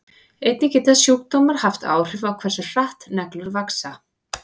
Einnig geta sjúkdómar haft áhrif á hversu hratt neglur vaxa.